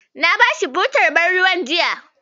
Na bashi butar ban ruwan jiya.